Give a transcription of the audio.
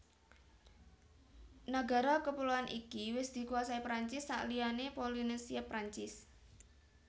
Nagara kepuloan iki wis dikuasai Perancis sakliyané Polinesia Perancis